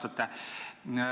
Eeltöö on üsna pikk.